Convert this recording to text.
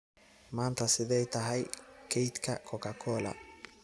maanta sidee tahay kaydka coca-cola